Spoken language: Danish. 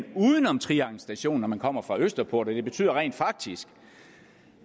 uden om trianglen station når man kommer fra østerport for det betyder rent faktisk